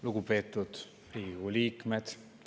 Lugupeetud Riigikogu liikmed!